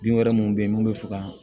Bin wɛrɛ minnu bɛ yen n'u bɛ fɛ ka